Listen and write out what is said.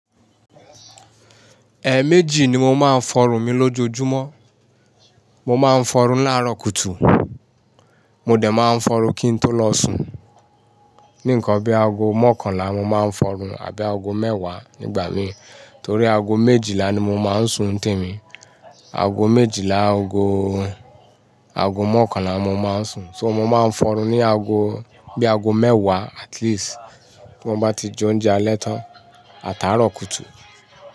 Ẹ̀ méjì ni mo máa ń fọrun mi lójoojúmọ́. Mo máa ń fọrun láàárọ̀ kùtù, mo dẹ̀ máa ń fọrun kín tó lọ sùn. Ní nǹkan bi aago mọ́kànlá mo máa ń fọrun àbí aago mẹ́wàá nígbà mi, torí aago méjìlá ni mo máa ń sùn temi. Aago méjìlá, aago, aago mọ́kànlá ni mo máa ń sùn. So mo máa ń fọ́run ní aago, bí aago mẹ́wàá at least, ti mo bá ti jẹ oúnjẹ alẹ́ tán àtàárọ̀ kùtù.